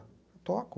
Eu toco.